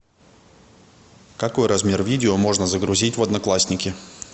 какой размер видео можно загрузить в одноклассники